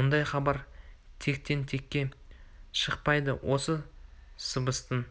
мұндай хабар тектен-текке шықпайды осы сыбыстың